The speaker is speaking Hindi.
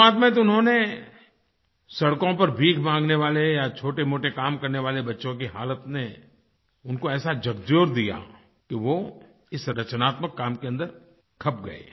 शुरुआत में तो उन्होंने सड़कों पर भीख माँगने वाले या छोटेमोटे काम करने वाले बच्चों की हालत ने उनको ऐसा झक़झोर दिया कि वो इस रचनात्मक काम के अंदर खप गए